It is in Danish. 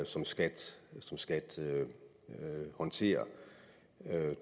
som skat som skat håndterer